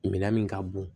Minɛn min ka bon